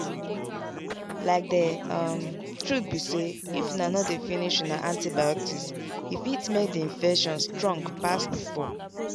like the um truth be sayif una no dey finish una antibiotics e fit make the infection strong pass before.